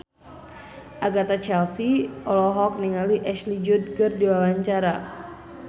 Agatha Chelsea olohok ningali Ashley Judd keur diwawancara